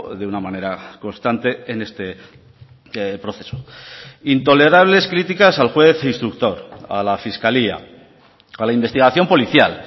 de una manera constante en este proceso intolerables criticas al juez instructor a la fiscalía a la investigación policial